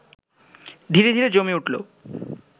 ধীরে ধীরে জমে উঠল